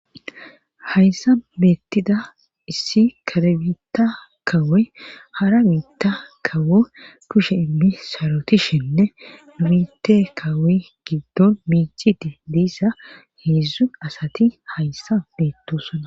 Hayssa beettida issi karebitta kawey hara biitta kawo kushe immisarotishinne durite kawoy giddon miiciti diissa heedzdzu asati hayssa beettosona.